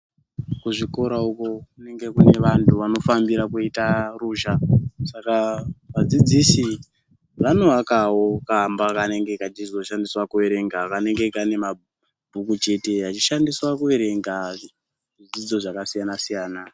Kuzvikora uko, kunenge kunevantu vanofambira kuita ruzha. Saka vadzidzisi vanowakawo kamba kanenge kachizoshandiswa kuerengera kanenge kanemabhuku chete, achishandiswa kuverenga zvidzidzo zvakasiyana siyana.